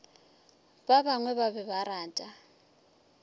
bangwe ba be ba rata